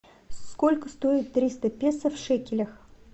сколько стоит триста песо в шекелях